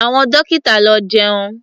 Àwọn dọ́kítà lọ jẹun.